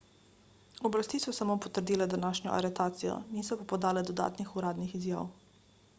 oblasti so samo potrdile današnjo aretacijo niso pa podale dodatnih uradnih izjav